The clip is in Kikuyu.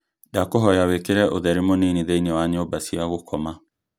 ndakũhoya wĩkĩre ũtheri mũnini thĩinĩ wa nyũmba cia gũkoma